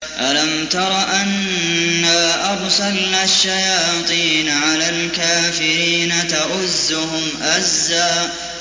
أَلَمْ تَرَ أَنَّا أَرْسَلْنَا الشَّيَاطِينَ عَلَى الْكَافِرِينَ تَؤُزُّهُمْ أَزًّا